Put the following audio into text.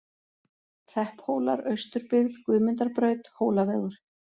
Hrepphólar, Austurbyggð, Guðmundarbraut, Hólavegur